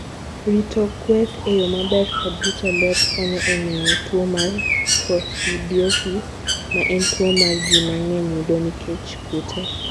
Rito kweth e yo maber kod rito ler konyo e geng'o tuo mar coccidiosis ma en tuwo ma ji mang'eny yudo nikech kute.